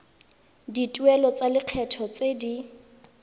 dituelo tsa lekgetho tse di